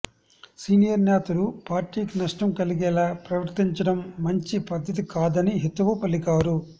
senior నేతలు పార్టీకి నష్టం కలిగేలా ప్రవర్తించడం మంచి పద్ధతి కాదని హితవు పలికారు